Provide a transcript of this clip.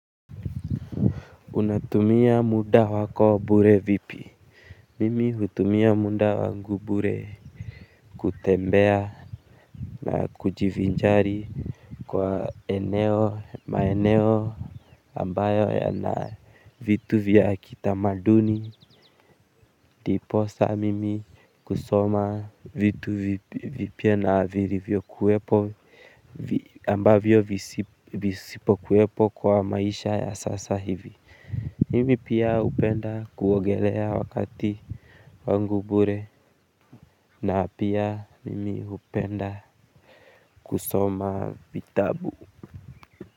Unatumia muda wako wa bure vipi? Mimi hutumia muda wangu wa bure kutembea na kujivinjari kwa maeneo ambayo yana vitu vya kitamaduni ndiposa mimi kusoma vitu vipya na vilivyo kuwepo ambavyo visipo kuwepo kwa maisha ya sasa hivi. Mimi pia hupenda kuogelea wakati wangu wa bure na pia mimi hupenda kusoma vitabu.